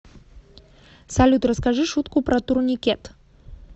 салют расскажи шутку про турникет